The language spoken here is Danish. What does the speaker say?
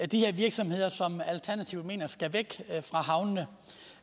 de her virksomheder som alternativet mener skal væk fra havnene